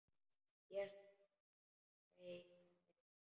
Jesús minn hvein í Lillu.